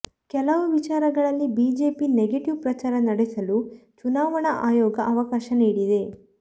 ಕೆಲವು ವಿಚಾರಗಳಲ್ಲಿ ಬಿಜೆಪಿಗೆ ನೆಗೆಟಿವ್ ಪ್ರಚಾರ ನಡೆಸಲು ಚುನಾವಣಾ ಆಯೋಗ ಅವಕಾಶ ನೀಡಿದೆ